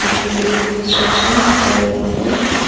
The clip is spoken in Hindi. पीछे में एक कंस्ट्रक्शन चल रहा है।